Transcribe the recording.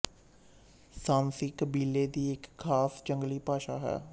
ਸਾਂਸੀ ਕਬੀਲੇ ਦੀ ਇੱਕ ਖਾਸ ਜੰਗਲੀ ਭਾਸ਼ਾ ਹੈ